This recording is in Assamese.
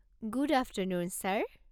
Good afternoon sir!